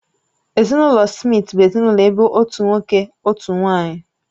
Ezinụlọ Smith bụ ezinụlọ ebe otu nwoke, otu nwanyị